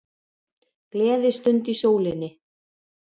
Gleðistund í sólinni